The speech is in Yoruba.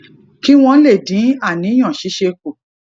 kí wón lè dín àníyàn ṣíṣe kù